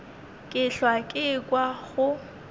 ke hlwa ke ekwa go